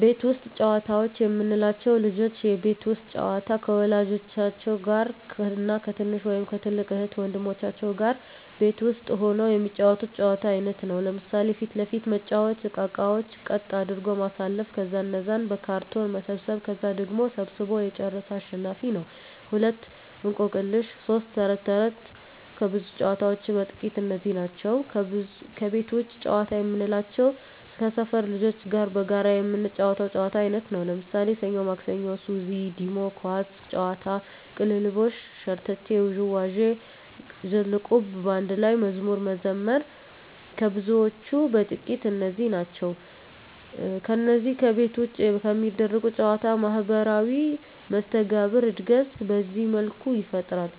ቤት ውስጥ ጨዋታዎች የምንላቸው፦ ልጆች የቤት ውስጥ ጨዋታ ከወላጆች ጋር እና ከትንሽ ወይም ከትልቅ እህት ወንድሞቻቸው ጋር ቤት ውስጥ ሁነው የሚጫወቱት የጨዋታ አይነት ነው። ለምሣሌ 1. ፊት ለፊት መጫዎቻ እቃቃዎችን ቀጥ አድርጎ ማሠለፍ ከዛ እነዛን በካርቶን መሰብሠብ ከዛ ቀድሞ ሠብስቦ የጨረሠ አሸናፊ ነው፤ 2. እቆቅልሽ 3. ተረት ተረት ከብዙዎች ጨዋታዎች በጥቃቱ እነዚህ ናቸው። ከቤት ውጭ ጨዋታ የምንላቸው ከሠፈር ልጆች ጋር በጋራ የምንጫወተው የጨዋታ አይነት ነው። ለምሣሌ፦ ሠኞ ማክሠኞ፤ ሱዚ፤ ዲሞ፤ ኳስ ጨዋታ፤ ቅልልቦሽ፤ ሸርተቴ፤ ዥዋዥዌ፤ ዝልቁብ፤ በአንድ ላይ መዝሙር መዘመር ከብዙዎቹ በጥቂቱ እነዚህ ናቸው። ከነዚህ ከቤት ውጭ ከሚደረጉ ጨዎች ማህበራዊ መስተጋብር እድገት በዚህ መልኩ ይፈጠራል።